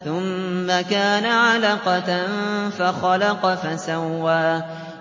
ثُمَّ كَانَ عَلَقَةً فَخَلَقَ فَسَوَّىٰ